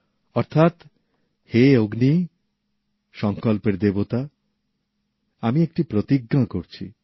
অর্থাৎ হে অগ্নি সংকল্পের দেবতা আমি একটি প্রতিজ্ঞা করছি